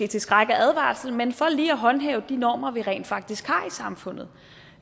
til skræk og advarsel men for lige at håndhæve de normer vi rent faktisk har i samfundet